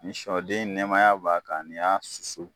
Ni siyɔden nɛmaya b'a kan, n'y'a susu.